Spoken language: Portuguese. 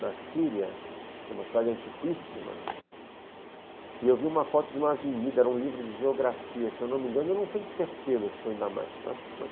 na Síria, que é uma cidade antiquíssima, e eu vi uma foto de uma avenida, era um livro de geografia, se eu não me engano, eu não tenho certeza se foi em Damasco, eu acho que foi.